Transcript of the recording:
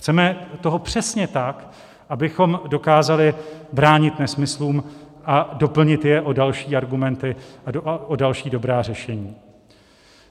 Chceme toho přesně tak, abychom dokázali bránit nesmyslům a doplnit je o další argumenty a o další dobrá řešení.